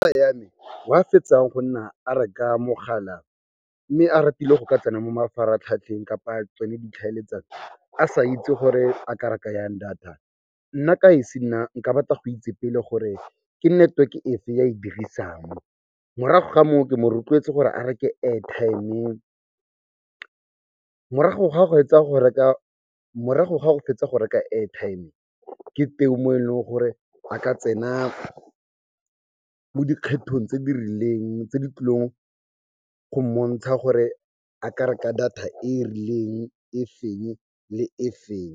Tsala ya me wa fetsang go nna a reka mogala mme a ratile go ka tsena mo mafaratlhatlheng kapa tsone ditlhaeletsano, a sa itse gore a ka reka jang data, nna ka esi nna, nka rata go itse pele gore ke network efe ya e dirisang. Morago ga moo, ke mo rotloetse gore a reke airtime. Morago ga go fetsa go reka airtime, ke teng mo e leng gore a ka tsena mo dikgethong tse di rileng tse di tlileng go mmontsha gore a ka reka data e e rileng, e feng le e feng.